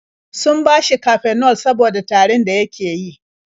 Sun bashi Cafenol saboda tarin da yake yi.